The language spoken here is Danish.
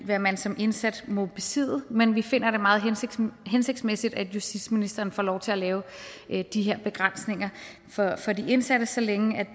hvad man som indsat må besidde men vi finder det meget hensigtsmæssigt at justitsministeren får lov til at lave de her begrænsninger for de indsatte så længe